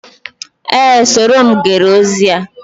Ee, soro m gere ozi a